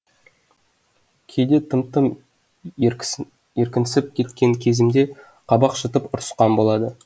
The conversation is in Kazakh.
кейде тым тым еркінсіп кеткен кезімде қабақ шытып ұрысқан болады